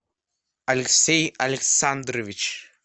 алексей александрович